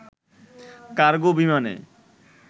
cargo বিমানে